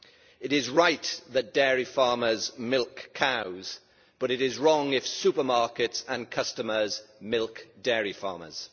It is right that dairy farmers milk cows, but it is wrong if supermarkets and customers milk dairy farmers.